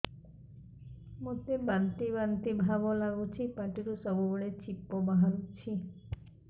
ମୋତେ ବାନ୍ତି ବାନ୍ତି ଭାବ ଲାଗୁଚି ପାଟିରୁ ସବୁ ବେଳେ ଛିପ ବାହାରୁଛି